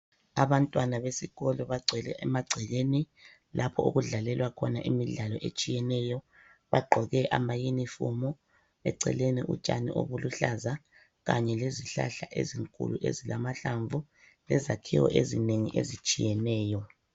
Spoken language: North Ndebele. Abantwana besikolo bagcwele emagcekeni lapho okudlalelwa khona imidlalo etshiyeneyo, bagqoke amaunifomu, eceleni utshani obuluhlaza kanye lezihlahla ezinkulu ezilamahlamvu lezakhiwo eziningi ezitshiyeneyo.